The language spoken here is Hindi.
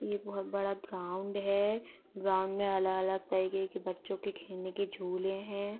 ये बोहोत बड़ा ग्राउंड है। ग्राउंड में अलग-अलग तरीके के बच्चों के खेलने के झूले हैं।